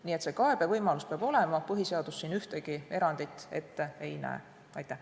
Nii et see kaebevõimalus peab olema, põhiseadus siin ühtegi erandit ette ei näe.